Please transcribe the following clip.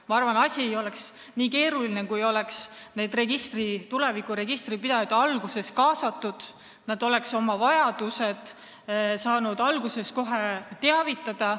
Ma arvan, et asi ei oleks nii keeruline, kui oleks tegelikke registripidajaid kohe alguses kaasatud, nii et nad oleks saanud varakult teada anda, mida neil vaja on.